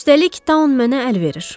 Üstəlik Taun mənə əl verir.